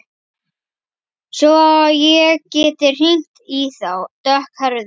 Svo ég geti hringt í þá dökkhærðu.